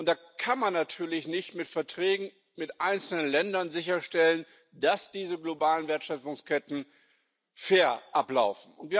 Da kann man natürlich nicht mit Verträgen mit einzelnen Ländern sicherstellen, dass diese globalen Wertschöpfungsketten fair ablaufen.